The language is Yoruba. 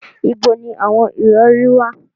Ibo ni awon irori wa